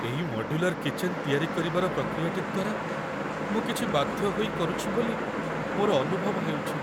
ଏଇ modular kitchen ତିଆରି କରିବାର ପ୍ରକ୍ରିୟାଟି ଦ୍ୱାରା ମୁଁ କିଛି ବାଧ୍ୟ ହୋଇ କରୁଛି ବୋଲି ମୋର ଅନୁଭବ ହେଉଛି।